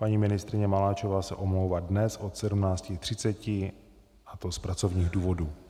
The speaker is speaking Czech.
Paní ministryně Maláčová se omlouvá dnes od 17.30 a to z pracovních důvodů.